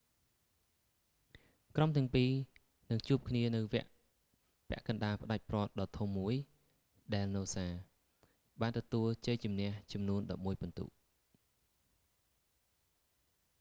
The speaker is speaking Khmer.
ក្រុមទាំងពីរនឹងជួបគ្នានៅវគ្គពាក់កណ្តាលផ្តាច់ព្រ័ត្រដ៏ធំមួយ ដែលនូសា noosa បានទទួលជ័យជម្នះចំនួន 11 ពិន្ទុ